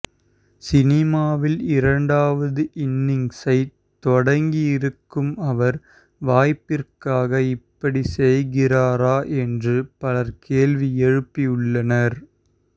சினிமாவில் இரண்டாவது இன்னிங்க்ஸை தொடங்கி இருக்கும் அவர் வாய்ப்பிற்காக இப்படி செய்கிறாரா என்று பலர் கேள்வி எழுப்பி உள்ளனர்